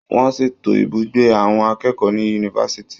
Wọ́n ṣètò ibùgbé àwọn akẹ́kọ̀ọ́ ní yunifásitì.